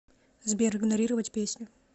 сбер игнорировать песню